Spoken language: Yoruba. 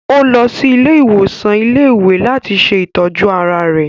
Ò lọ sí ilé-ìwòsàn ilé-ìwé làti ṣe itọju ara rẹ̀